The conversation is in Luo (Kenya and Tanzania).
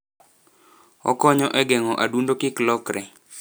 Okonyo e geng'o adundo kik lokre.